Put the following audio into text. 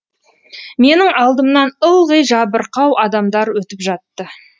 менің алдымнан ылғи жабырқау адамдар өтіп жатты